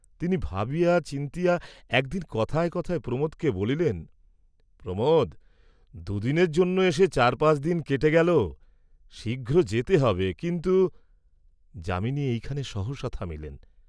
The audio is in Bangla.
তিনি ভাবিয়া চিন্তিয়া একদিন কথায় কথায় প্রমোদকে বলিলেন, "প্রমোদ, দু’দিনের জন্য এসে চার পাঁচ দিন কেটে গেল, শীঘ্র যেতে হবে, কিন্তু," যামিনী এইখানে সহসা থামিলেন।